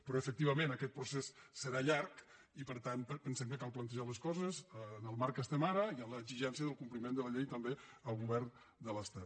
però efectivament aquest procés serà llarg i per tant pen·sem que cal plantejar les coses en el marc que estem ara i en l’exigència del compliment de la llei també al govern de l’estat